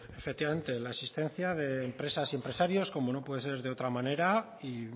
efectivamente la existencia de empresas y empresarios como no puede ser de otra manera y